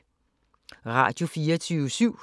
Radio24syv